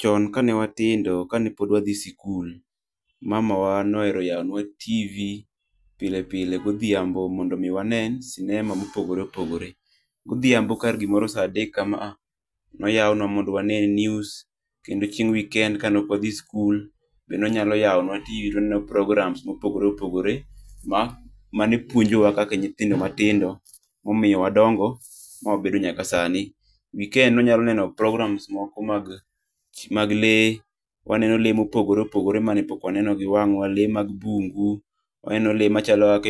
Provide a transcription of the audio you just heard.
Chon kane watindo kane pod wadhi sikul, mamawa nohero yawonwa TV pile pile godhiambo mondo omi wane sinema mopogore opogore. Godhiambo kar gimoro sa adek kama a ,noyawonwa mondo omi wane news. Kendo chieng' weekend kane ok wadhi sikul, be nonyalo yawonwa TV to waneno programs mopogore opogore ma ,mane puonjowa kaka nyithindo matindo momiyo wadongo ma wabedo nyaka sani. Weekends nonyalo neno programs moko mag lee. Waneno lee mopogore opogore mane pok waneno gi wang'wa, lee mag bungu. Waneno lee machalo